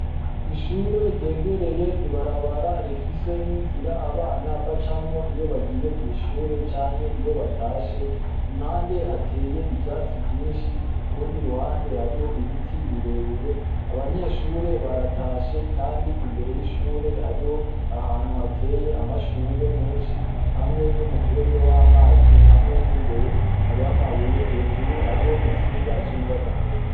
Ishure ryegereye ibarabara rifise n'inzira abana ba camwo iyo bagiye kw'ishure canke iyo batashe impande hateye ivyatsi vyinshi ku rundi ruhande hariho ibiti birebire abanyeshure baratashe, kandi imbere y'ishure hariho ahantu hateye amashurwe menshe shi hamwe n'umufurege w'amazi hamwe n'imbere hariho amabuye hejuru hariho insinga z'umuyaga nkuba.